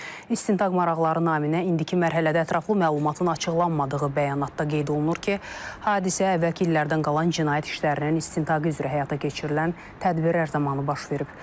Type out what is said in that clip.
İstintaq maraqları naminə indiki mərhələdə ətraflı məlumatın açıqlanmadığı bəyanatda qeyd olunur ki, hadisə əvvəlki illərdən qalan cinayət işlərinin istintaqı üzrə həyata keçirilən tədbirlər zamanı baş verib.